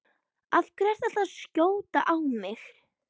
Af hverju ertu alltaf að skjóta á mig?